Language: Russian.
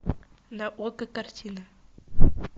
на окко картина